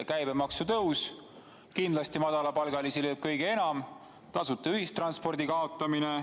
Käibemaksu tõus lööb kindlasti madalapalgalisi kõige enam, ka tasuta ühistranspordi kaotamine.